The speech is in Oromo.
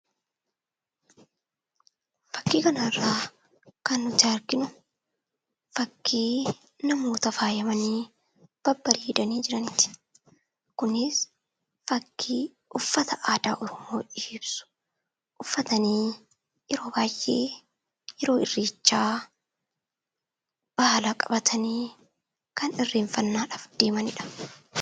Fakkii kana irraa kan arginu, fakkii namoota faayamanii babbareedanii jiraniiti. Kunis fakkii uffata aadaa Oromoo ishee ibsu uffatanii yeroo baayyee, yeroo irreechaa baala qabatanii kan irreeffannaadhaaf deemanidha.